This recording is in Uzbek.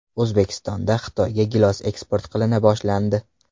O‘zbekistondan Xitoyga gilos eksport qilina boshlandi.